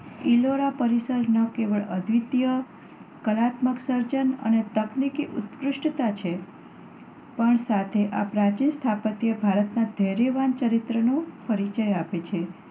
ઈલોરા પરિસર ન કેવળ અદ્વિતીય કલાત્મક સર્જન અને તકનિકી ઉત્કૃષ્ટતા છે, પણ સાથે આ પ્રાચીન સ્થાપત્ય ભારતના ધૈર્યવાન ચરિત્રનો પરિચય આપે છે.